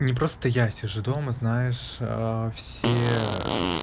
не просто я сижу дома знаешь а все ээ